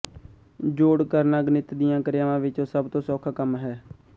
ਜੋੜ ਕਰਨਾ ਗਣਿਤ ਦੀਆਂ ਕਿਰਿਆਵਾਂ ਵਿੱਚੋਂ ਸਭ ਤੋਂ ਸੌਖਾ ਕੰਮ ਹੈ